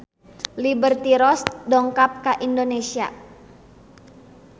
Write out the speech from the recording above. Liberty Ross dongkap ka Indonesia